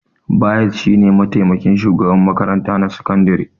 Bayis shi ne mataimakin shugaban makarantar sakandire